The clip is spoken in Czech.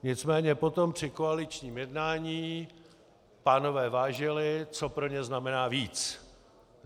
Nicméně potom při koaličním jednání pánové vážili, co pro ně znamená víc.